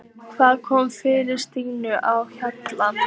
Hvað kom fyrir Stínu á Hjalla?